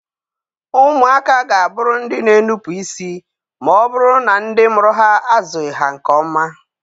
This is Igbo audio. Ụmụaka ga a bụrụ ndị na-enupụ isi ma ọ bụrụ na ndị mụrụ ha azụghị ha nke ọma.